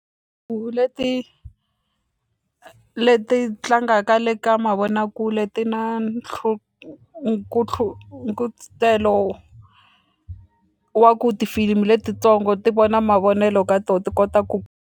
leti leti tlangaka le ka mavonakule ti na wa ku tifilimi letitsongo ti vona mavonelo ka to ti kota ku.